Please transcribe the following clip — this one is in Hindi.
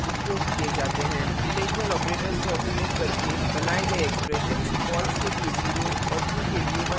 relational operators का उपयोग करके बनाये गए expressions false के लिए 0 और true के लिए 1 देते हैं